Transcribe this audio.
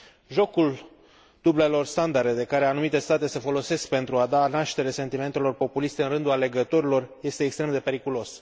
Jocul dublelor standarde de care anumite state se folosesc pentru a da naștere sentimentelor populiste în rândul alegătorilor este extrem de periculos.